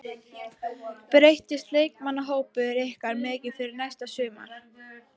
Breytist leikmannahópur ykkar mikið fyrir næsta sumar?